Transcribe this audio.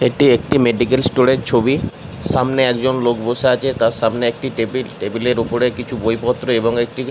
এটি একটি medical store এর ছবি। সামনে একজন লোক বসে আছে তার সামনে একটি টেবিল । টেবিল এর সামনে কিছু বই পএ এবং একটি --